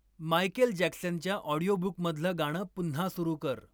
Michael जॅक्सनच्या ऑडिओबुकमधलं गाणं पुन्हा सुरु कर.